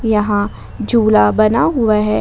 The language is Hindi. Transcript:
यहा झुला बना हुआ है।